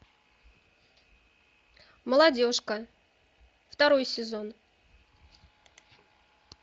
молодежка второй сезон